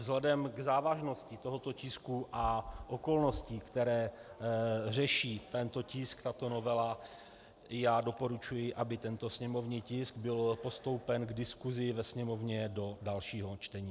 Vzhledem k závažnosti tohoto tisku a okolnostem, které řeší tento tisk, tato novela, já doporučuji, aby tento sněmovní tisk byl postoupen k diskusi ve Sněmovně do dalšího čtení.